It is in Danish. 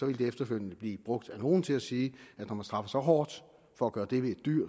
ville det efterfølgende blive brugt af nogle til at sige at når man straffer så hårdt for at gøre det ved et dyr